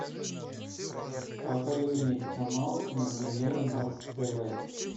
покажи мне канал кинопремьера на тв